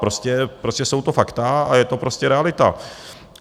Prostě jsou to fakta a je to prostě realita.